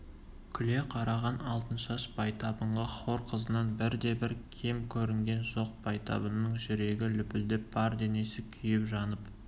күле қараған алтыншаш байтабынға хор қызынан бірде-бір кем көрінген жоқ байтабынның жүрегі лүпілдеп бар денесі күйіп-жанып